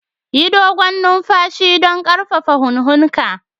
Yi dogon numfashi don ƙarfafa hunhunka.